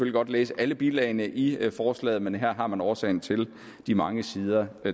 godt læse alle bilagene i forslaget men her har man årsagen til de mange sider